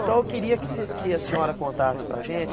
Então eu queria que você, que a senhora contasse para a gente